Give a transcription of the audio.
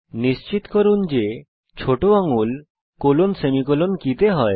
নিশ্চিত করুন যে ছোট আঙ্গুল কোলনসেমিকোলন কী তে হয়